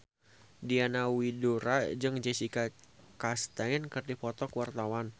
Diana Widoera jeung Jessica Chastain keur dipoto ku wartawan